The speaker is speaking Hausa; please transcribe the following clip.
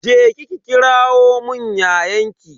Je ki ki kiramun yayanki.